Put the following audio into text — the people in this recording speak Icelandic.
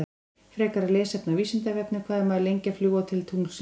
Frekara lesefni á Vísindavefnum: Hvað er maður lengi að fljúga til tunglsins?